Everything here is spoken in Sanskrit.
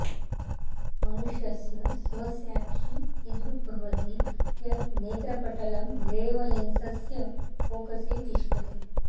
मनुष्यस्य स्वस्याक्षि ईदृग् भवति यत् नेत्रपटलं लेवलेन्सस्य फोकसे तिष्ठति